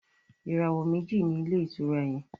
ìràwọ meji ní Ilé-ìtura yén.